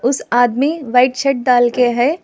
उस आदमी white shirt डाल के है।